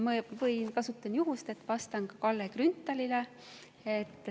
Ma kasutan ka juhust, et vastata Kalle Grünthalile.